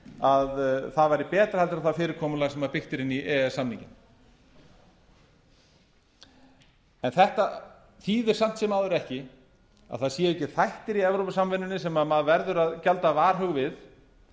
að það væri bera en það fyrirkomulag sem byggt er inn í e e s samninginn þetta þýðir samt sem áður ekki að það séu ekki þættir í evrópusambandinu sem maður verður að gjalda varhug við